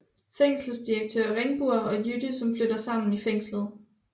Fængselsdirektør Ringbur og Jytte som flytter sammen i fængslet